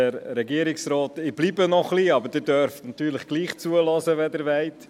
Ich bleibe zwar noch etwas hier, aber Sie dürfen mir natürlich trotzdem zuhören, wenn Sie wollen.